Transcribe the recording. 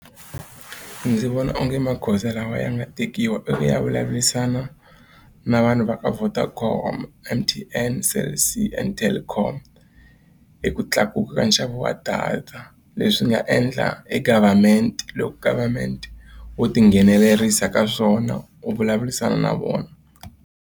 Ndzi vona onge magoza lawa ya nga tekiwa i ku ya vulavurisana na vanhu va ka Vodacom, M_T_N, Cell C and Telkom hi ku tlakuka ka nxavo wa data leswi nga endla e government loko government o tinghenelerisa ka swona u vulavurisana na vona.